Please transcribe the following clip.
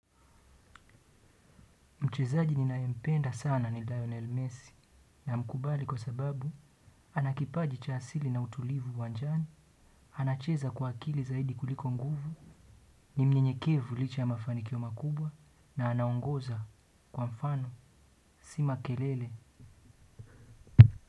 Mchezaji ninaye mpenda sana ni Lionel Messi namkubali kwa sababu ana kipaji cha asili na utulivu uwanjani, anacheza kwa akili zaidi kuliko nguvu ni mnyenyekevu licha ya mafananikio makubwa na anaongoza kwa mfano, si makelele.